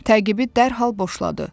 Təqibi dərhal boşladı.